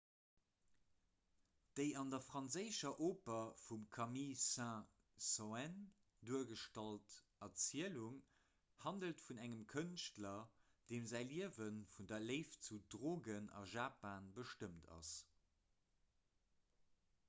déi an der franséischer oper vum camille saint-saens duergestallt erzielung handelt vun engem kënschtler deem säi liewe vun der léift zu drogen a japan bestëmmt ass